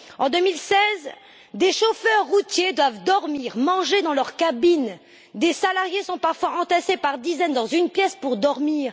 En 2016, des chauffeurs routiers doivent dormir et manger dans leur cabine, des salariés sont parfois entassés par dizaines dans une pièce pour dormir.